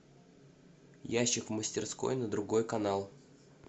ящик в мастерской на другой канал